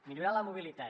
millorar la mobilitat